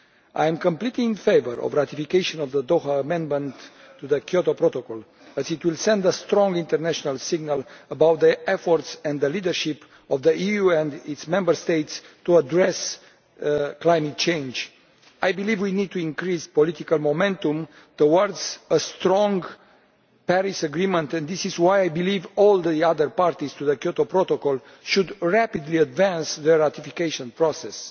I am completely in favour of the ratification of the Doha Amendment to the Kyoto Protocol as it will send a strong international signal about the efforts and the leadership of the EU and its Member States in addressing climate change. I believe we need to increase political momentum towards a strong Paris agreement, and this is why I believe that all the other parties to the Kyoto Protocol should rapidly advance their ratification process.